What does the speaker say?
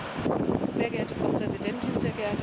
Frau Präsidentin, sehr geehrter Herr Kommissar!